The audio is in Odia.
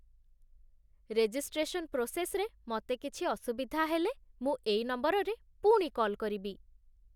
ରେଜିଷ୍ଟ୍ରେସନ୍ ପ୍ରୋସେସ୍‌ରେ ମତେ କିଛି ଅସୁବିଧା ହେଲେ, ମୁଁ ଏଇ ନମ୍ବରରେ ପୁଣି କଲ୍ କରିବି ।